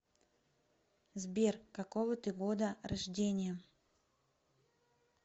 сбер какого ты года рождения